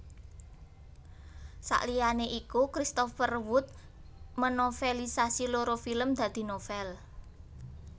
Saliyane iku Christopher Wood menovelisasi loro film dadi novel